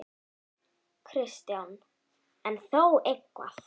Kristján: En þó eitthvað?